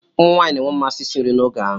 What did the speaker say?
Ụmụ nwanyị na-enwe mmasị isi nri n'oge ahụ.